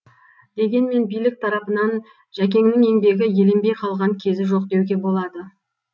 дегенмен билік тарапынан жәкеңнің еңбегі еленбей қалған кезі жоқ деуге болады